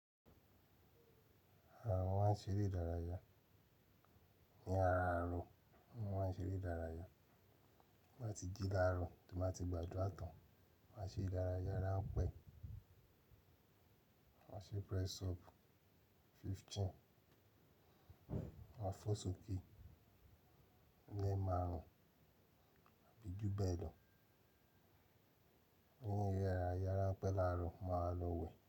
Àwa ṣeré ìdárayá. Ni ara ààrọ̀ wọ́n máa ṣeré ìdárayá. Wọ́n ti jí láàrọ̀ tí wọ́n ti gbàdúrà tán, wọ́n ṣé ìdárayá ránpẹ́. Wọ́n ṣe press up fifteen, wọ́n fò sókè lẹ́ẹ̀ márùn-ún, àbí jù bẹ́ẹ̀ lọ. Ní ìyẹ̀rà ìyẹ̀rá pẹ́lààrọ̀ máa lọ wẹ̀.